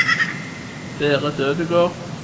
Berit Ødegård